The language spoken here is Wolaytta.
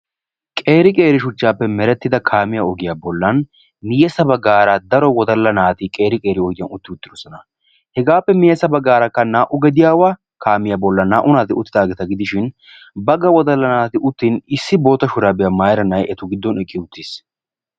qeeri qeeri shuchchaappe merettida kaamiya ogiyaa bollan miyesa baggaara daro wodalla naati qeeri qeeri ogiyan utti uttidosona hegaappe miyesa baggaarakka naa"u gediyaawa kaamiyaa bollan naa"u naati uttidaageeta gidishin bagga wodalla naati uttin issi boota shuraabiyaa maayiranay giddon eqqi uttiis.